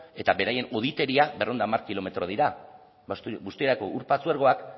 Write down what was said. eta beraien hoditeria berrehun eta hamar kilometro dira busturiako ur patzuergoak